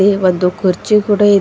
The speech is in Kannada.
ಇಲ್ಲಿ ಒಂದು ಕುರ್ಚಿ ಕೂಡ ಇದೆ.